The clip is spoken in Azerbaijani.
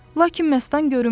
Lakin Məstan görünmürdü.